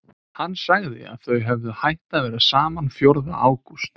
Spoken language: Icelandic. Hann sagði að þau hefðu hætt að vera saman fjórða ágúst.